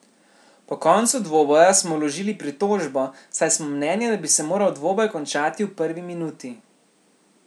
Po koncu dvoboja smo vložili pritožbo, saj smo mnenja, da bi se moral dvoboj končati v prvi minuti.